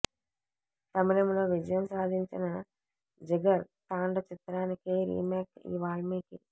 తమిళంలో విజయం సాధించిన జిగర్ తాండ చిత్రానికి రీమేక్ ఈ వాల్మీకి